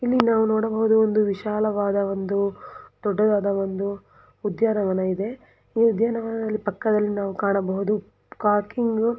ಇಲ್ಲಿ ನಾವು ನೋಡಬಹುದು ಒಂದು ವಿಶಾಲವಾದ ಒಂದು ದೊಡ್ಡದಾದ ಒಂದು ಉದ್ಯಾನವನ ಇದೆ ಈ ಉದ್ಯಾನವನದಲ್ಲಿ ಪಕ್ಕದಲ್ಲಿ ನಾವು ಕಾಣಬಹುದು ಪಾರ್ಕಿಂಗ್ --